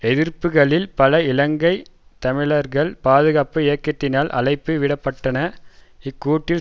எதிர்ப்புக்களில் பல இலங்கை தமிழர்கள் பாதுகாப்பு இயக்கத்தினால் அழைப்பு விட பட்டன இக்கூட்டில்